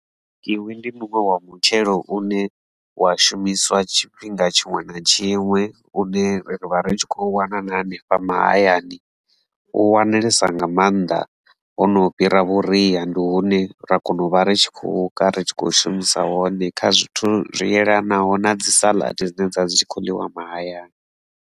Kiwi ndi muṅwe wa mutshelo une wa shumiswa tshifhinga tshiṅwe na tshiṅwe une ri vha ri tshi khou wana na hanefha mahayani u wanalesa nga mannḓa maanḓa hono fhira vhuria ndi hune ra kona u vha ri tshi khou ka ri tshi khou shumisa wone kha zwithu zwi yelanaho na dzi saḽadi dzine dzavha dzi tshi kho ḽiwa mahayani.